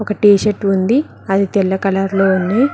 ఒక టీషర్టు ఉంది అది తెల్ల కలర్ లో ఉంది.